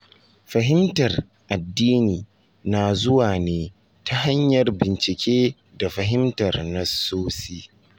Fahimtar addini na zuwa ne ta hanyar bincike da fahimtar nassosi.